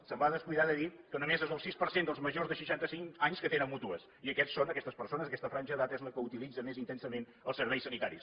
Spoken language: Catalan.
es va descuidar de dir que només és el sis per cent dels majors de seixanta cinc anys que tenen mútues i aquests són aquestes persones aquesta franja d’edat és la que utilitza més intensament els serveis sanitaris